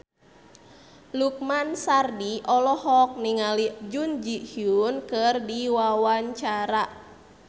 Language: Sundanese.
Lukman Sardi olohok ningali Jun Ji Hyun keur diwawancara